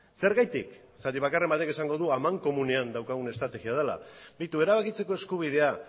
zergatik zeren bakarren batek esango du amankomunean daukagun estrategia dela beitu erabakitzeko eskubidea